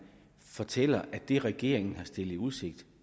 fortæller at det regeringen har stillet i udsigt